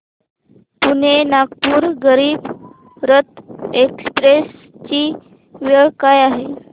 Pune Nagpur Garib Rath express ची वेळ काय आहे